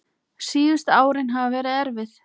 Síðustu árin hafa verið erfið.